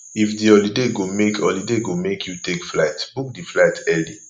if di holiday go make holiday go make you take flight book di flight early